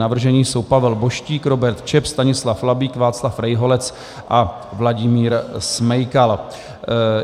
Navrženi jsou Pavel Boštík, Robert Čep, Stanislav Labík, Václav Rejholec a Vladimír Smejkal.